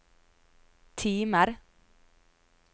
timer